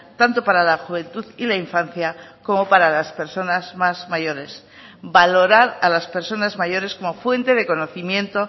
tanto para la juventud y la infancia como para las personas más mayores valorar a las personas mayores como fuente de conocimiento